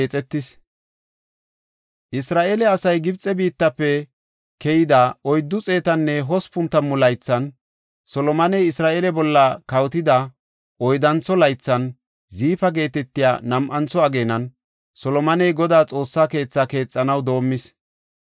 Isra7eele asay Gibxe biittafe keyida 480 laythan, Solomoney Isra7eele bolla kawotida oyddantho laythan, Ziifa geetetiya nam7antho ageenan, Solomoney Godaa Xoossaa keethi keexanaw doomis.